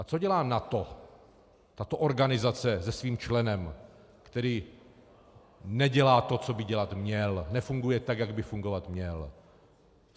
A co dělá NATO, tato organizace se svým členem, který nedělá to, co by dělat měl, nefunguje tak, jak by fungovat měl?